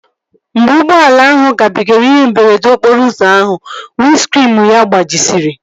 Mgbe ụgbọala ahụ gabigara ihe mberede okporo ụzọ ahụ, windskriinu ya gbajisiri